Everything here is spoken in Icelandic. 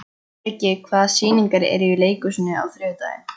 Viggi, hvaða sýningar eru í leikhúsinu á þriðjudaginn?